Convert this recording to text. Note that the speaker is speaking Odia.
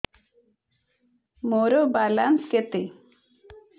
ମୋର ବାଲାନ୍ସ କେତେ